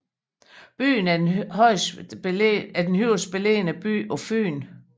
Byen er den højst beliggende by på Fyn